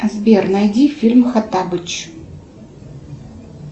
сбер найди фильм хоттабыч